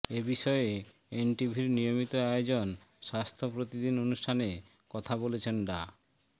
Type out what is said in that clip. এ বিষয়ে এনটিভির নিয়মিত আয়োজন স্বাস্থ্য প্রতিদিন অনুষ্ঠানে কথা বলেছেন ডা